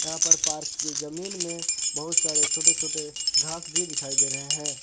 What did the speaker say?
यहां पर पार्क की जमीन में बहुत सारे छोटे छोटे घास भी दिखाई दे रहे है।